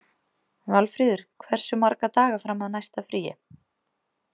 Valfríður, hversu marga daga fram að næsta fríi?